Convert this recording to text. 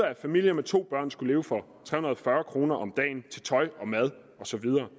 en familie med to børn skal leve for tre hundrede og fyrre kroner om dagen til tøj og mad og så videre